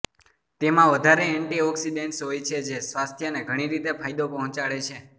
તેમાં વધારે એન્ટીઓક્સીડેન્ટ્સ હોય છે જે સ્વાસ્થ્યને ઘણી રીતે ફાયદો પહોંચાડે છે